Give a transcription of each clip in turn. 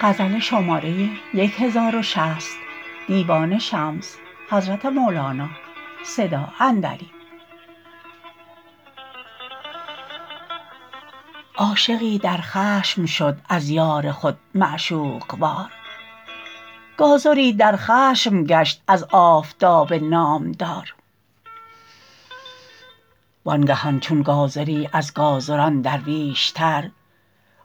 عاشقی در خشم شد از یار خود معشوق وار گازری در خشم گشت از آفتاب نامدار وانگهان چون گازری از گازران درویشتر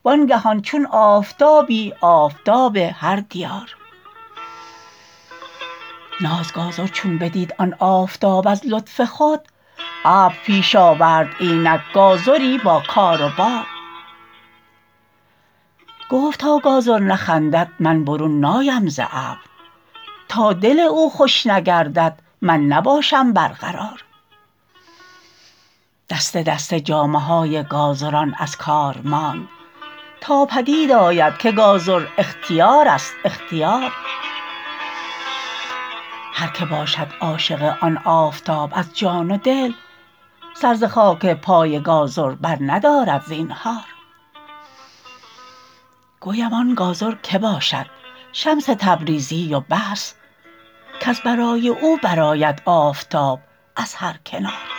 وانگهان چون آفتابی آفتاب هر دیار ناز گازر چون بدید آن آفتاب از لطف خود ابر پیش آورد اینک گازری با کار و بار گفت تا گازر نخندد من برون نایم ز ابر تا دل او خوش نگردد من نباشم برقرار دسته دسته جامه های گازران از کار ماند تا پدید آید که گازر اختیارست اختیار هر کی باشد عاشق آن آفتاب از جان و دل سر ز خاک پای گازر برندارد زینهار گویم آن گازر که باشد شمس تبریزی و بس کز برای او برآید آفتاب از هر کنار